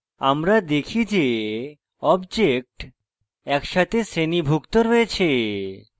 আমরা দেখি যে objects একসাথে শ্রেণীভুক্ত রয়েছে